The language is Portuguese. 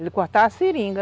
cortar a seringa.